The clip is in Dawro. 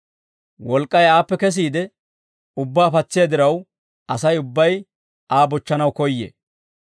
Wolk'k'ay aappe kesiide ubbaa patsiyaa diraw Asay ubbay Aa bochchanaw koyyee.